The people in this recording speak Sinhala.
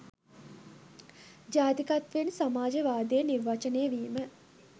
ජාතිකත්වයෙන් සමාජවාදය නිර්වචනය වීම